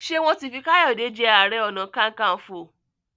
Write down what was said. Ṣe wọn tí fí Kayode je aré ọnà kankanfo?